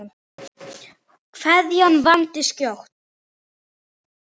Kveðjan vandist skjótt.